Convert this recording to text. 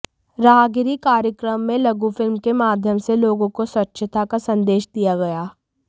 राहगिरी कार्यक्रम में लघु फिल्म के माध्यम से लोगों को स्वच्छता का संदेश दिया गया